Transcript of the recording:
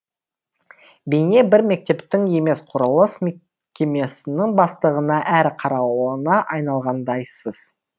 бейне бір мектептің емес құрылыс мекемесінің бастығына әрі қарауылына айналғандайсыз